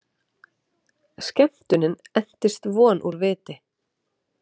Skemmtunin entist von úr viti!